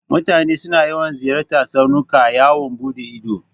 Mutane suna yawan ziyartan tsaunuka yawon buɗe ido.